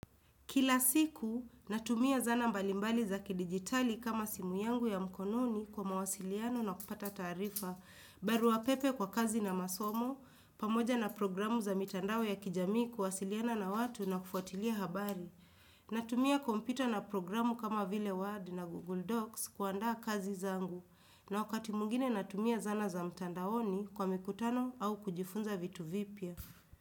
Kila siku, natumia zana mbalimbali za kidigitali kama simu yangu ya mkononi kwa mawasiliano na kupata taarifa. Barua pepe kwa kazi na masomo, pamoja na programu za mitandao ya kijami kuwasiliana na watu na kufuatilia habari. Natumia kompyuta na programu kama vile Word na Google Docs kuandaa kazi zangu. Na wakati mwingine natumia zana za mtandaoni kwa mikutano au kujifunza vitu vipya.